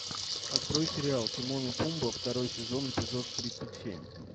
открой сериал тимон и пумба второй сезон эпизод тридцать семь